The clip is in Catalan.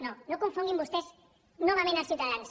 no no confonguin vostès novament els ciutadans